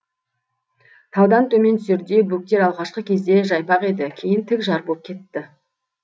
таудан төмен түсерде бөктер алғашқы кезде жайпақ еді кейін тік жар боп кетті